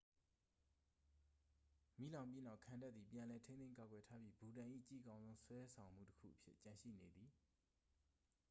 မီးလောင်ပြီးနောက် ခံတပ်သည် ပြန်လည်ထိန်းသိမ်းကာကွယ်ထားပြီ ဘူတန်၏ ကြည့်ကောင်းဆုံး ဆွဲတောင်မှုတစ်ခုအဖြစ်ကျန်ရှိနေသည်